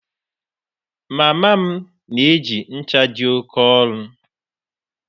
Mama m na-eji ncha dị oke ọnụ